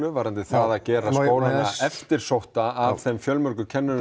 varðandi það að gera skólana eftirsótta af þeim fjölmörgu kennurum